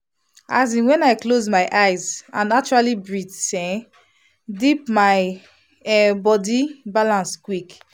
as in when i close my eyes and actually breathe um deep my um body balance quick.